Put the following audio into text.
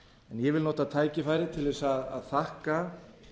ég vil nota tækifærið til þess að þakka